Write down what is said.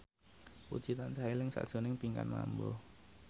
Puji tansah eling sakjroning Pinkan Mambo